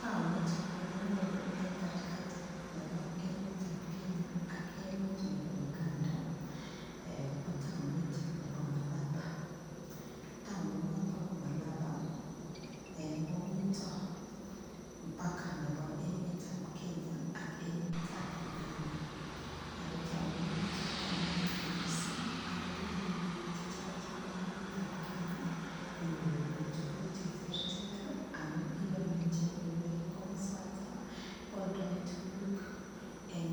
Taonit nekinyoru eng katikati nebo Kenya ak emet nebo Uganda ko taonit nebo Malaba taoni noto bo Malaba komito mpaka nebo emet ab Kenya ak emet Uganda oko taoninoto konayat mising akopendi piik chechang chebo emet ab Kenya konyikoibi tukuk cheterter amun iyoni echek kole komosata kooldoi tukuk eng